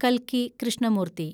കൽക്കി കൃഷ്ണമൂർത്തി